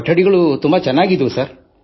ಕೊಠಡಿಗಳು ಚೆನ್ನಾಗಿದ್ದವು